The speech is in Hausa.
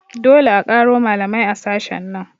Dole a ƙaro malamai a sashen nan